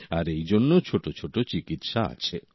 আর এই জন্য ছোট ছোট চিকিৎসা আছে